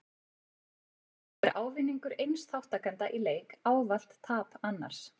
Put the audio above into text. Þá er ávinningur eins þátttakanda í leik ávallt tap annars.